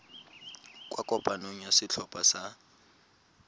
kwa kopanong ya setlhopha sa